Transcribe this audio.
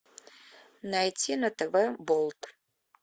найти на тв болт